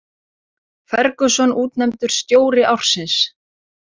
Ferguson útnefndur stjóri ársins